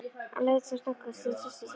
Leit sem snöggvast til systur sinnar.